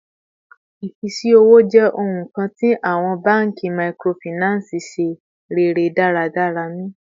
Ifisi owo jẹ ohun kan ti awọn banki microfinance ṣe rere daradara ni